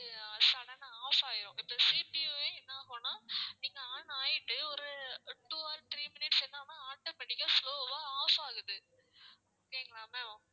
sudden னா off ஆகிடும் இப்போ CPU வே என்ன ஆகும்னா நீங்க on ஆகிட்டு ஒரு two or three minutes என்ன ஆகும்னா automatic ஆ slow வா off ஆகுது okay ங்களா ma'am